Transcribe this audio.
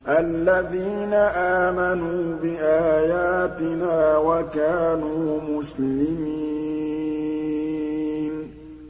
الَّذِينَ آمَنُوا بِآيَاتِنَا وَكَانُوا مُسْلِمِينَ